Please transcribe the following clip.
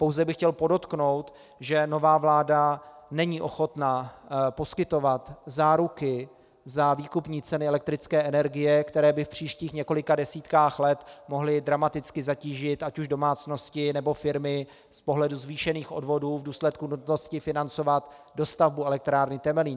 Pouze bych chtěl podotknout, že nová vláda není ochotna poskytovat záruky na výkupní ceny elektrické energie, které by v příštích několika desítkách let mohly dramaticky zatížit ať už domácnosti, nebo firmy z pohledu zvýšených odvodů v důsledku nutnosti financovat dostavbu elektrárny Temelín.